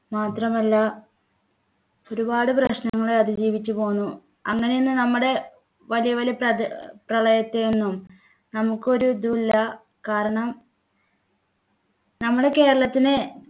മാത്രമല്ല ഒരുപാട് പ്രശ്നങ്ങളെ അതിജീവിച്ചു പോന്നു അങ്ങനെ ഇന്ന് നമ്മുടെ വലിയ വലിയ പ്രദ പ്രളയത്തെ ഒന്നും നമുക്കൊരു ഇതുമില്ല കാരണം നമ്മുടെ കേരളത്തിനെ